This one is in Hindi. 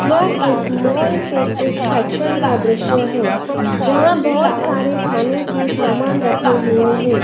यह एक मॉल के एक सेक्सन का दृश्य है। जहां बहोत सारे खाने के सामान रखे हुए है।